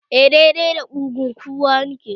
Eh, dai dai da kugun kowa nake